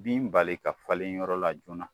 Bin bali ka falen yɔrɔ la joona.